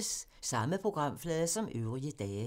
Samme programflade som øvrige dage